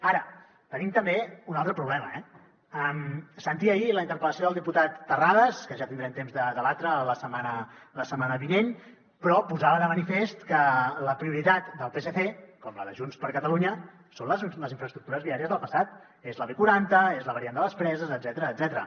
ara tenim també un altre problema eh sentia ahir la interpel·lació del diputat terrades que ja tindrem temps de debatre la setmana vinent però posava de manifest que la prioritat del psc com la de junts per catalunya són les infraestructures viàries del passat és la b quaranta és la variant de les preses etcètera